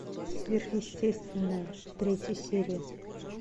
сверхъестественное третья серия